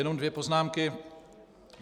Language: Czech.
Jenom dvě poznámky.